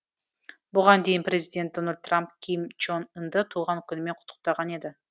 бұған дейін президент дональд трамп ким чен ынды туған күнімен құттықтаған еді